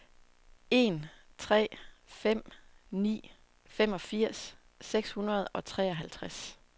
en tre fem ni femogfirs seks hundrede og treoghalvtreds